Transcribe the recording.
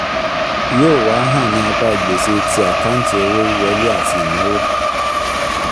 yóò wá hàn ní apá gbèsè ti àkáǹtì owó wíwọlé àti ìnáwó.